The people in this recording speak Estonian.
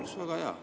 Oleks väga hea.